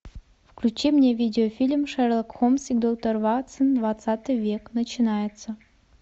включи мне видеофильм шерлок холмс и доктор ватсон двадцатый век начинается